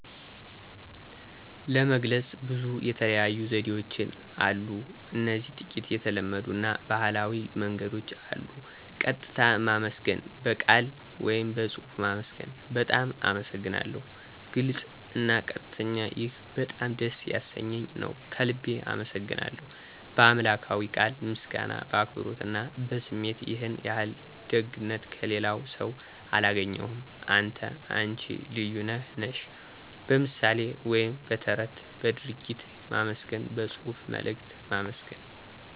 ለመግለጽ ብዙ የተለያዩ ዘዴዎችን አሉ እዚህ ጥቂት የተለመዱ አና ባህላዊ መንገዶች አሉ። ቀጥታ ማመስገን (በቃል ወይም በጽሑፍ ማመስገን ) "በጣም አመሰግናለሁ "(ግልጽ አና ቀጥተኛ ) "ይህ በጣም ደስ ያሰኘኝ ነው። ከልቤ አመሰግናለሁ ;" "በአምላክዊ ቃል ምስጋና በአክብሮት አና በስሜት"ይህን ያህል ደግነት ከሌላስው አላገኘሁም። አንተ /አነች ልዩ ነህ /ነሽ ;" በምሣሌ ወይም በተረት በድርጊት ማመስገን በጽሑፍ መልእክት ማመስገን